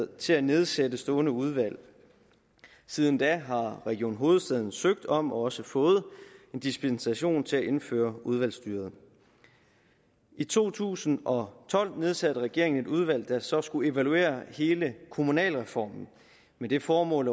til at nedsætte stående udvalg siden da har region hovedstaden søgt om og også fået en dispensation til at indføre udvalgsstyret i to tusind og tolv nedsatte regeringen et udvalg der så skulle evaluere hele kommunalreformen med det formål